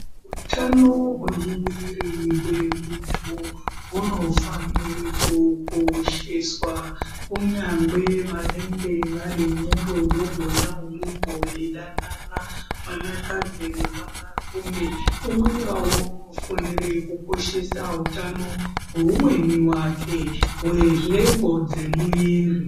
Utano hwemumiri memuntu hunofanire kukosheswa kunyange vanenge vari murudo mona imomo veidanana vanakadzi nevanarume umwe ngeumwe unofanire kukoshesa hutano hweumweni wake hwenhengo dzemuviri.